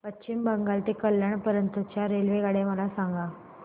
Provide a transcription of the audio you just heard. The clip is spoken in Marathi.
पश्चिम बंगाल ते कल्याण पर्यंत च्या रेल्वेगाड्या मला सांगा